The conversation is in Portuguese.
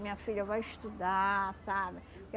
Minha filha, vai estudar, sabe?